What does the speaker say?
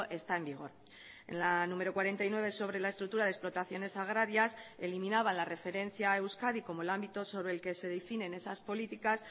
está en vigor en la número cuarenta y nueve sobre la estructura de explotaciones agrarias eliminaba la referencia a euskadi como el ámbito sobre el que se definen esas políticas